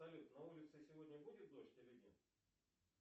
салют на улице сегодня будет дождь или нет